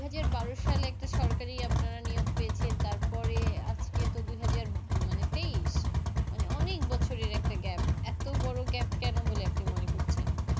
দুই হাজার বারো সালে একটা সরকারি আপনারা নিয়োগ পেয়েছেন তারপরে আজকে তো দুই হাজার মানেতো তেইশ মানে অনেক বছরের একটা Gap এতো বড়ো Gap কেন বলে আপনি মনে করছেন